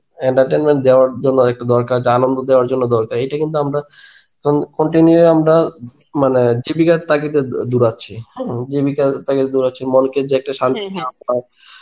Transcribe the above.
entertenment দেওযার জন্যে একটু দরকার যা আনন্দ দেওয়ার জন্যে দরকার এইটা কিন্তু আমরা continue আমরা মানে জীবিকার তাগিদে দৌড়াচ্ছি. হম জীবিকার তাগিদে দৌড়াচ্ছি মনকে যে একটা